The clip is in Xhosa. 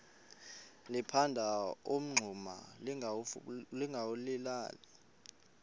liphanda umngxuma lingawulali